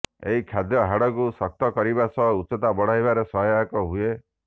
ଏହି ଖାଦ୍ୟ ହାଡ଼କୁ ଶକ୍ତ କରିବା ସହ ଉଚ୍ଚତା ବଢାଇବାରେ ସହାୟକ ହୁଏ